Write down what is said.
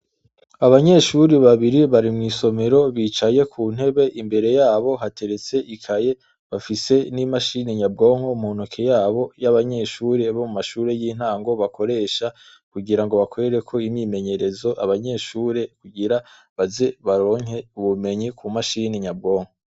Abanyeshuri babiri bari mw'isomero bicaye ku ntebe imbere yabo hateretse ikaye bafise n'imashini nyabwonko muntoke yabo y'abanyeshuri bo mu mashure y'intango bakoresha kugira ngo bakwereko imimenyerezo abanyeshure kugira baze baronke ubumenyi ku mashini nyabwonko.